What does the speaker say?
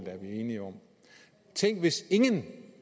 tænk hvis ingen